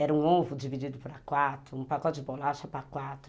Era um ovo dividido para quatro, um pacote de bolacha para quatro.